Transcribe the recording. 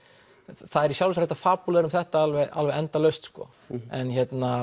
það er í sjálfu sér hægt að fabúlera um þetta alveg alveg endalaust sko en